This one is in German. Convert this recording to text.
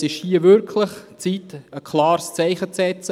Es ist wirklich an der Zeit, ein klares Zeichen zu setzen.